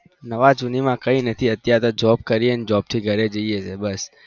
નવા જીની ના કઈ નથી અત્યારે તો job કરીએ અને job થી ઘરે જઈએ એ બસ